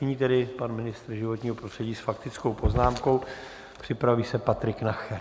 Nyní tedy pan ministr životního prostřední s faktickou poznámkou, připraví se Patrik Nacher.